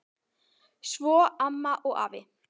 Svo amma og afi.